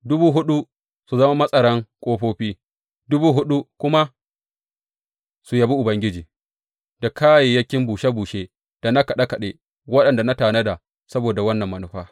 Dubu huɗu su zama matsaran ƙofofi, dubu huɗu kuma su yabi Ubangiji da kayayyakin bushe bushe da na kaɗe kaɗe waɗanda na tanada saboda wannan manufa.